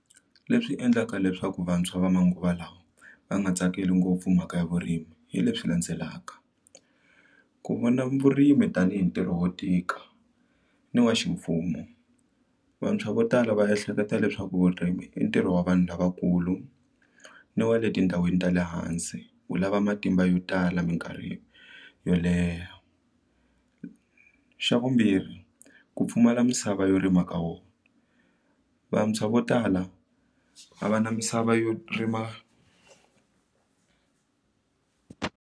Leswi endlaka leswaku vantshwa va manguva lawa va nga tsakeli ngopfu mhaka ya vurimi hi leswi landzelaka ku vona vurimi tanihi ntirho wo tika ni wa ximfumo vantshwa vo tala va ehleketa leswaku vurimi i ntirho wa vanhu lavakulu ni wa le tindhawini ta le hansi wu lava matimba yo tala minkarhi yo leha xa vumbirhi ku pfumala misava yo rima ka wona vantshwa vo tala a va na misava yo rima.